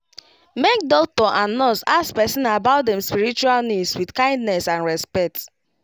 make doctor and nurse ask person about dem spiritual needs with kindness and respect